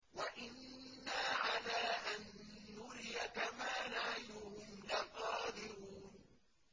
وَإِنَّا عَلَىٰ أَن نُّرِيَكَ مَا نَعِدُهُمْ لَقَادِرُونَ